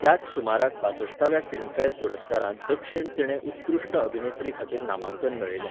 त्याच सुमाराक बासश्टाव्या फिल्मफॅर पुरस्कारांत दक्षिण तिणें उत्कृश्ट अभिनेत्रीखातीर नामांकन मेळयलें.